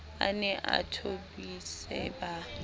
a ne a thobise ba